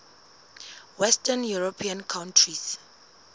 western european countries